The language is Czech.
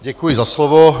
Děkuji za slovo.